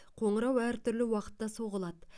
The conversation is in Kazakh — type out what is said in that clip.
қоңырау әртүрлі уақытта соғылады